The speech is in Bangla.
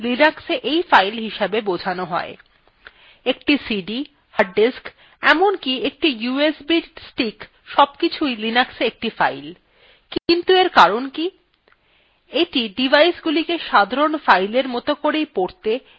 একটি সিডি hard disk এমনকি একটি usb stick সবকিছুই linux একটি file কিন্তু এর কারণ কি এইটি ডিভাইসগুলিকে সাধারণ file মত করেই পড়তে way লিখতে সাহায্য করে